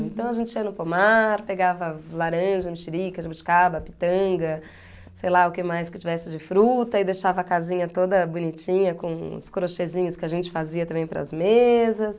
Então a gente ia no pomar, pegava laranja, mexerica, jabuticaba, pitanga, sei lá o que mais que tivesse de fruta e deixava a casinha toda bonitinha com os crochêzinhos que a gente fazia também para as mesas.